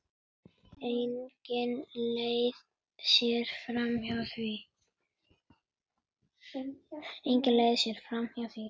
Engin leið sé framhjá því.